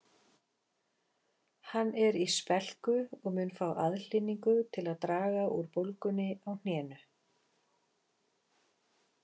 Hann er í spelku og mun fá aðhlynningu til að draga úr bólgunni á hnénu